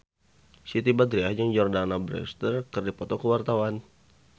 Siti Badriah jeung Jordana Brewster keur dipoto ku wartawan